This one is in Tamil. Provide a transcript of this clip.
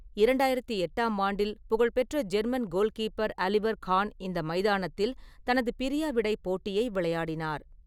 இரண்டாயிரத்து எட்டாம் ஆண்டில் புகழ்பெற்ற ஜெர்மன் கோல்கீப்பர் ஆலிவர் கான் இந்த மைதானத்தில் தனது பிரியாவிடை போட்டியை விளையாடினார்.